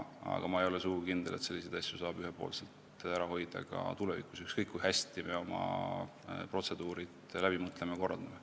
Aga ma ei ole sugugi kindel, et selliseid asju saab ühepoolselt ära hoida ka tulevikus, ükskõik kui hästi me oma protseduurid läbi mõtleme ja neid korraldame.